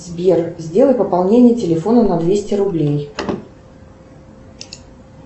сбер сделай пополнение телефона на двести рублей